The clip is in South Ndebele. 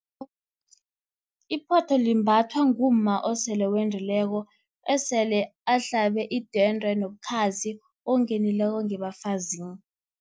Iphotho limbathwa ngumma osele endileko, esele ahlabe idwende nobukhazi, ongenileko ngebafazini.